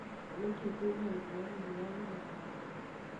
nĩkĩĩ kwĩna endia anini a nyama taũni